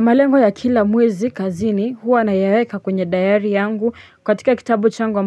Malengo ya kila mwezi kazini huwa nayaweka kwenye dayari yangu katika kitabu changu